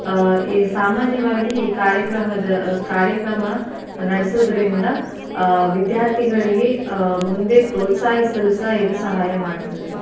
ಆಹ್ ಸಾಮಾನ್ಯವಾಗಿ ಈ ಕಾರ್ಯಕ್ರಮದ ಕಾರ್ಯಕ್ರಮ ನಡ್ಸೊದ್ರಿಂದ ವಿದ್ಯಾರ್ಥಿಗಳಿಗೆ ಆಹ್ ಮುಂದೆ ಪ್ರೋತ್ಸಾಹಿಸಲು ಸಹ ಇದು ಸಹಾಯ ಮಾಡ್ತದೆ.